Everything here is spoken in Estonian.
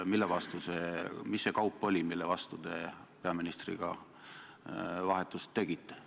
Mis see kaup oli, mille vastu te peaministriga vahetust tegite?